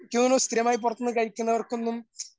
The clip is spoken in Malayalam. ഇക്ക് തോന്നുന്നു സ്ഥിരമായി പുറത്തുന്ന് കഴിക്കുന്നവർക്കൊന്നും